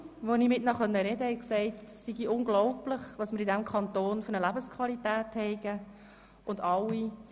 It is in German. Alle, mit denen ich sprechen konnte, fanden, es sei unglaublich, welche Lebensqualität wir in diesem Kanton hätten.